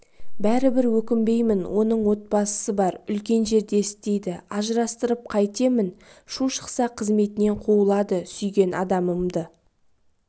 бәрібір өкінбеймін оның отбасысы бар үлкен жерде істейді ажырастырып қайтемін шу шықса қызметінен қуылады сүйген адамымды